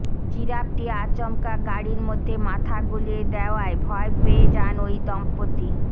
জিরাফটি আচমকা গাড়ির মধ্যে মাথা গলিয়ে দেওয়ায় ভয় পেয়ে যান ওই দম্পতি